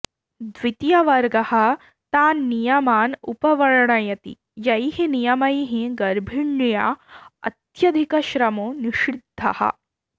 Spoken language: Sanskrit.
द्वितीयवर्गः तान् नियमान् उपवर्णयति यैः नियमैः गर्भिण्या अत्यधिकश्रमो निषिध्दः